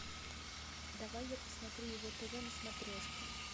давай я посмотрю его тв на смотрешке